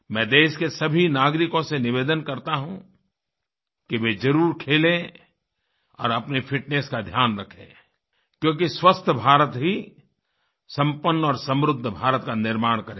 मैं देश के सभी नागरिकों से निवेदन करता हूँ कि वे ज़रूर खेलें और अपनी फिटनेस का ध्यान रखें क्योंकि स्वस्थ भारत ही संपन्न और समृद्ध भारत का निर्माण करेगा